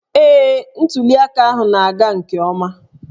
Ee, ntuli aka ahụ na-aga nke ọma